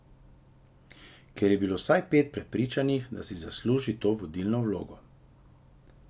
Ker je bilo vsaj pet še prepričanih, da si zasluži to vodilno vlogo.